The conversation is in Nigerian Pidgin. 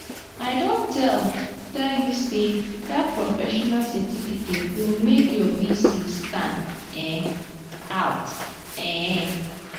i don tell tell you sey dat professional certificate go make your vc stand um out. um